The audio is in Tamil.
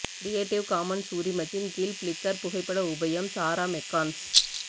கிரியேட்டிவ் காமன்ஸ் உரிமத்தின் கீழ் பிளிக்கர் புகைப்பட உபயம் சாரா மெக்கான்ஸ்